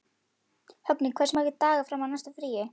Högni, hversu margir dagar fram að næsta fríi?